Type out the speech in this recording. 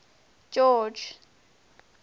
george